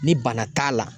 Ni bana t'a la